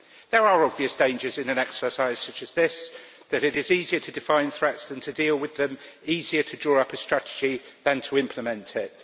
There are obvious dangers in an exercise such as this that it is easier to define threats than to deal with them, and easier to draw up a strategy than to implement it.